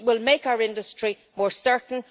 We will make our industry more certain.